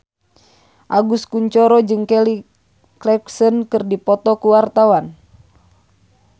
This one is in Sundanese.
Agus Kuncoro jeung Kelly Clarkson keur dipoto ku wartawan